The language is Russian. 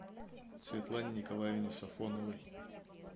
светлане николаевне сафоновой